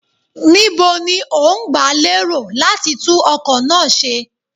Níbo ni ó ń gba lérò láti tún ọkọ̀ náà ṣe?